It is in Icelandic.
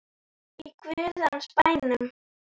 Í guðs bænum.